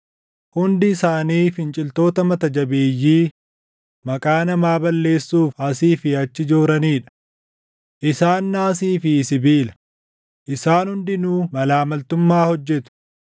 Hundi isaanii finciltoota mata jabeeyyii maqaa namaa balleessuuf asii fi achi jooranii dha. Isaan naasii fi sibiila; isaan hundinuu malaa maltummaa hojjetu.